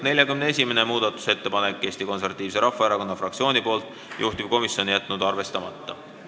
41. muudatusettepanek on Eesti Konservatiivse Rahvaerakonna fraktsioonilt, juhtivkomisjon on jätnud arvestamata.